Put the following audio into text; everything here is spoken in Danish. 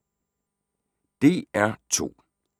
DR2